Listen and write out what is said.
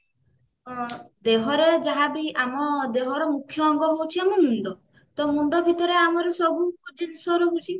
ଦେହରେ ଯାହାବି ଆମ ଦେହର ମୁକ୍ଷ୍ୟ ଅଙ୍ଗ ହଉଛି ଆମ ମୁଣ୍ଡ ତ ମୁଣ୍ଡ ଭିତରେ ଆମର ସବୁ ଜିନିଷ ରହୁଛି